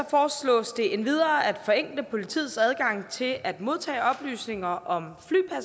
foreslås det endvidere at forenkle politiets adgang til at modtage oplysninger om